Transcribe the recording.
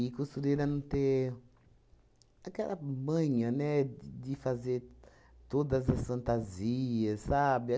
costureira não ter aquela manha, né, de de fazer todas as fantasias, sabe?